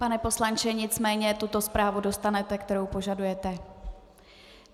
Pane poslanče, nicméně tuto zprávu dostanete, kterou požadujete.